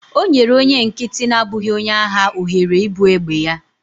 O nyere onye nkịtị na-abụghị onye agha ohere ibu egbe ya